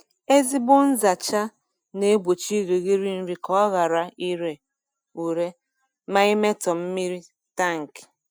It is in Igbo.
Ezigbo nzacha na-egbochi irighiri nri ka ọ ghara ire ure ma imetọ mmiri tankị.